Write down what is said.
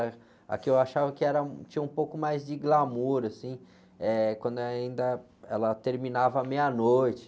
que eu achava que era, tinha um pouco mais de glamour, assim, eh, quando ainda ela terminava à meia-noite.